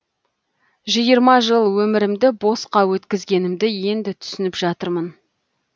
жиырма жыл өмірімді босқа өткізгенімді енді түсініп жатырмын